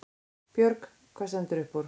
Björg: Hvað stendur upp úr?